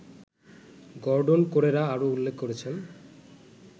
Gordon Corera আরও উল্লেখ করেছেন